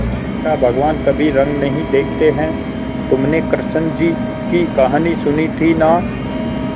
बेटा भगवान कभी रंग नहीं देखते हैं तुमने कृष्ण जी की कहानी सुनी थी ना